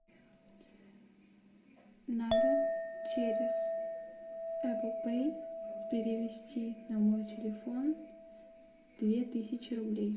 надо через эппл пэй перевести на мой телефон две тысячи рублей